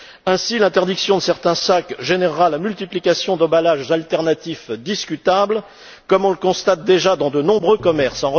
Ainsi, l'interdiction de certains sacs générera la multiplication d'emballages alternatifs discutables, comme on le constate déjà dans de nombreux commerces.